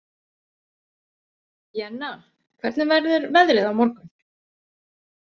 Jenna, hvernig verður veðrið á morgun?